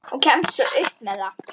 Og kemst upp með það!